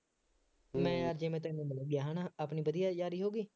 ਮੈਂ ਅੱਜ ਜਿਵੇਂ ਤੈਨੂੰ ਮਿਲ ਗਿਆ, ਹੈ ਨਾ, ਆਪਣੀ ਵਧੀਆ ਯਾਰੀ ਹੋ ਗਈ,